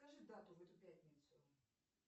скажи дату в эту пятницу